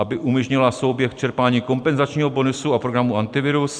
aby umožnila souběh čerpání kompenzačního bonusu a programu Antivirus;